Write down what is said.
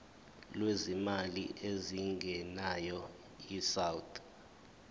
lwezimali ezingenayo isouth